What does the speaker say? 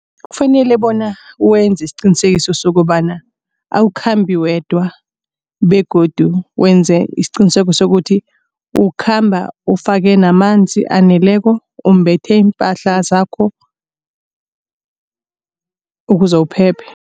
Kufanele bona wenze isiqinisekiso sokobana awukhambi wedwa begodu wenze isiqiniseko sokuthi ukhamba ufake namanzi aneleko umbethe iimpahla zakho ukuze uphephe.